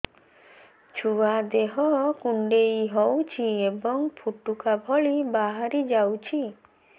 ଛୁଆ ଦେହ କୁଣ୍ଡେଇ ହଉଛି ଏବଂ ଫୁଟୁକା ଭଳି ବାହାରିଯାଉଛି